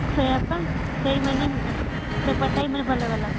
ସେଇଆ ପା ବେପାର time ରେ